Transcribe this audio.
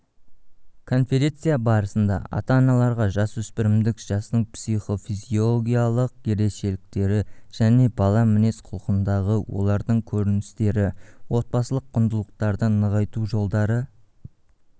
конференция барысында ата-аналарға жасөспірімдік жастың психо-физиологиялық ерекшеліктері және бала мінез-құлқындағы олардың көріністері отбасылық құндылықтарды нығайту жолдары